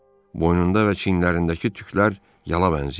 Boynunda və çinlərindəki tüklər yala bənzəyirdi.